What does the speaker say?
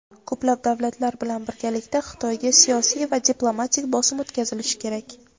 Ko‘plab davlatlar bilan birgalikda Xitoyga siyosiy va diplomatik bosim o‘tkazilishi kerak.